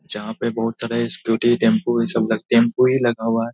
जहां पे बहुत सारा स्‍कूटी टेंपू इन सब का टेंपू ही लगा हुआ है।